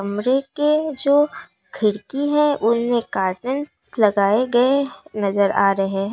कमरे के जो खिड़की हैं। उनमें कार्टेन्स लगाए गए नजर आ रहे हैं।